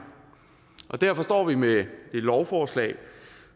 derfor står vi med et lovforslag